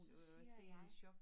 Så siger jeg